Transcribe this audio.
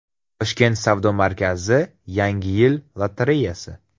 Toshkent savdo markazi: Yangi yil lotereyasi.